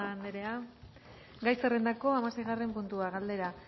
asko murga anderea gai zerrendako hamaseigarren puntua galdera